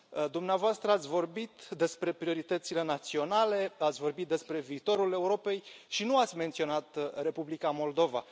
Dumneavoastră ați vorbit despre prioritățile naționale, ați vorbit despre viitorul Europei și nu ați menționat Republica Moldova.